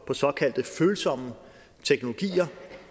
såkaldte følsomme teknologier